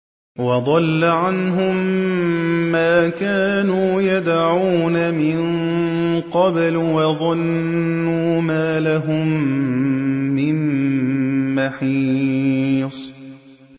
وَضَلَّ عَنْهُم مَّا كَانُوا يَدْعُونَ مِن قَبْلُ ۖ وَظَنُّوا مَا لَهُم مِّن مَّحِيصٍ